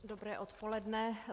Dobré odpoledne.